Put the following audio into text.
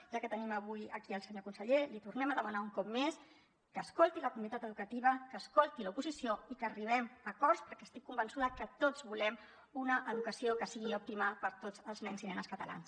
ja que tenim avui aquí el senyor conseller li tornem a demanar un cop més que escolti la comunitat educativa que escolti l’oposició i que arribem a acords perquè estic convençuda que tots volem una educació que sigui òptima per a tots els nens i nenes catalans